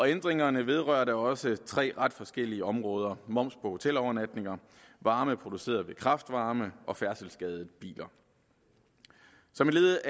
ændringerne vedrører da også tre ret forskellige områder moms på hotelovernatninger varme produceret ved kraft varme og færdselsskadede biler som et led